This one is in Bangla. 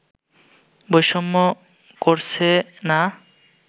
বৈষম্য করছে না